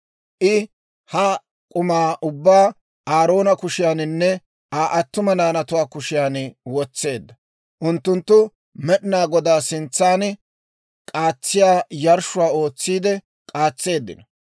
I ha k'umaa ubbaa Aaroona kushiyaaninne Aa attuma naanatuwaa kushiyaan wotseedda; unttunttu Med'inaa Godaa sintsan k'aatsiyaa yarshshuwaa ootsiide k'aatseeddino.